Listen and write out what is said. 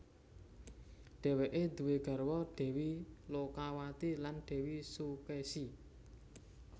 Dhéweké duwé garwa Dèwi Lokawati lan Dèwi Sukèsi